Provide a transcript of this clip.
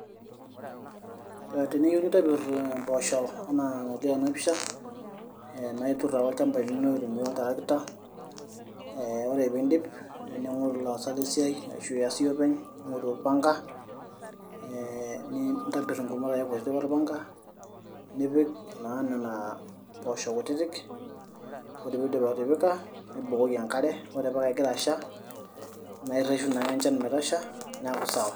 teniyieu nintobirr impoosho enaa enalio tena pisha ee naa iturr ake olchamba lino aitumia oltarakita ee ore piindip ning'oru ilaasak lesiai ashu ias iyie openy ning'oru orpanga ee nintobirr ingumot ake kutitik orpanga nipik naa nena pooshok kutitik ore piindip atipika nibukoki enkare ore paa kegira asha naa irreshu naa ake enchan metasha neeku sawa.